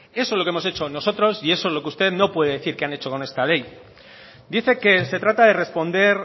eso es lo que hemos hecho nosotros y eso es lo que usted no puede decir que han hecho con esta ley dice que se trata de responder